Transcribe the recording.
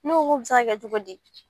Ne ko k'o bɛ se ka kɛ cogo di